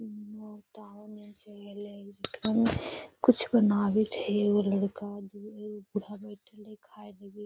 कुछ बनावित हई एगो लड़का बू एगो बूढ़ा बइठल हई खाए लगी।